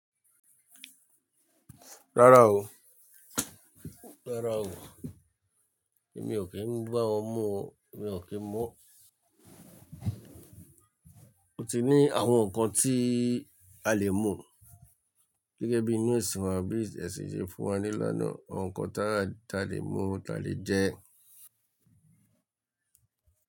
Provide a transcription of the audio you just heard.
Rárá o, rárá o. Èmi ò kí ń bá wọn mú o, èmi ò kí ń mú Ó ti ní àwọn nǹkan tí a lè mú. Gẹ́gẹ́ bí inú ẹ̀sìn wa, bí ẹ̀sìn ṣe fún wa ní lánàá, àwọn nǹkan táa lè mú, ta lè jẹ́.